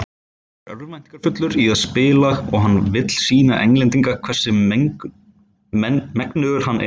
Hann er örvæntingarfullur í að spila og hann vill sýna Englandi hvers megnugur hann er.